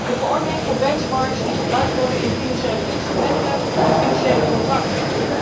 de verordening inzake benchmarks die gebruikt worden in financiële instrumenten en financiële contracten.